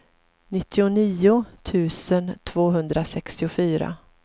nittionio tusen tvåhundrasextiofyra